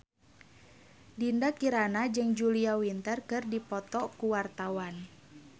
Dinda Kirana jeung Julia Winter keur dipoto ku wartawan